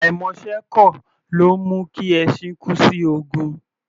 Àìmọṣẹ́ ẹ́ kọ̀, ló ńmú kí ẹṣin kú sí ogun.